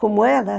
Como era?